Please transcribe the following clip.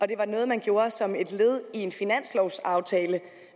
det var noget man gjorde som et led i en finanslovaftale